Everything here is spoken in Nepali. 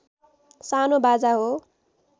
सानो बाजा हो